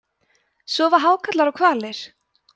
sofa hákarlar og hvalir